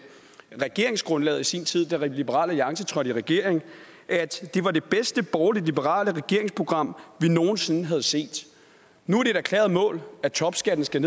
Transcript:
regeringsgrundlaget i sin tid da liberal alliance trådte i regering at det var det bedste borgerlige liberale regeringsprogram man nogen sinde havde set nu er det et erklæret mål at topskatten skal